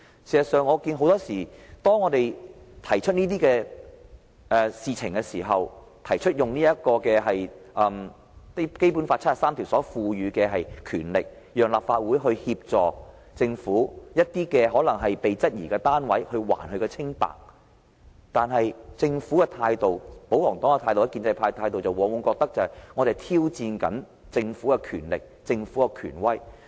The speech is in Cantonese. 事實上，我看到很多時候，當我們提出這些事情，提出根據《基本法》第七十三條賦予我們的權力，讓立法會提供機會還政府一個清白時，政府、保皇黨和建制派的態度，往往認為我們在挑戰政府的權力和權威。